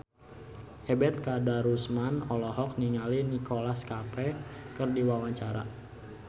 Ebet Kadarusman olohok ningali Nicholas Cafe keur diwawancara